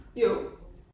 Jo